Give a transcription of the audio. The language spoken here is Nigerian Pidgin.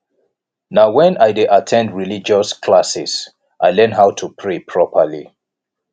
na wen i dey at ten d religious classes i learn how to pray properly